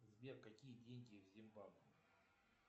сбер какие деньги в зимбабве